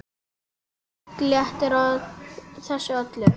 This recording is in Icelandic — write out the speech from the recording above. Nudd léttir á þessu öllu.